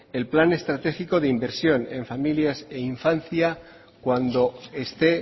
el plan estratégico de inversión en familias e infancia cuando esté